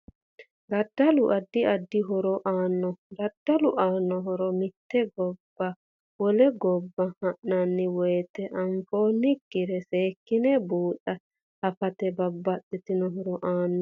DAddalu addi addi horo aanno daddalu aanno horo mite gobbaniwole gobba han'anni woyiite anfoonikire seekine buuxe afette babbaxino horo aanno